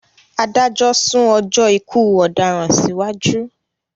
Adájọ́ sún ọjọ́ ikú ọdaràn sí wájú